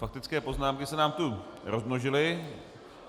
Faktické poznámky se nám to rozmnožily.